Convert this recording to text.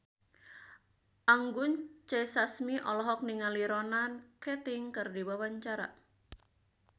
Anggun C. Sasmi olohok ningali Ronan Keating keur diwawancara